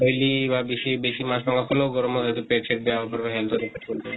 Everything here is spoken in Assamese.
লি বা বেছি, বেছি মাছ মাংস খালেও, গৰমত হয়্তো পেত সেত বেয়া হʼব হেন কৰি